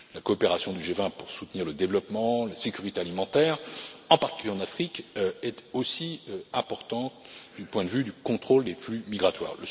La coopération du G20 pour soutenir le développement, la sécurité alimentaire, en particulier en Afrique, est aussi importante du point de vue du contrôle des flux migratoires.